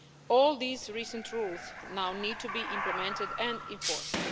All these recent rules now need to be implemented and enforced.